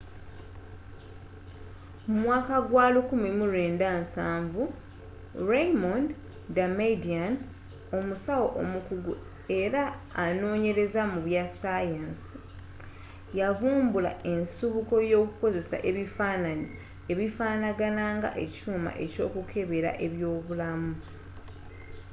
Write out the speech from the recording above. mu mwaka gwa 1970 raymond damadian omusawo omukugu era anoonyereza mu bya ssaayansi yavvumbula ensibuko y'okukozesa ebifaananyi ebifaanagana nga ekyuuma ky'okukebera eby'obulamu